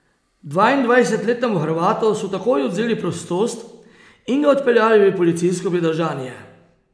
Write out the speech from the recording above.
Dvaindvajsetletnemu Hrvatu so takoj odvzeli prostost in ga odpeljali v policijsko pridržanje.